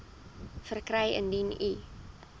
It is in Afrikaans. verkry indien u